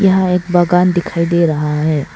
यहां एक बागान दिखाई दे रहा है।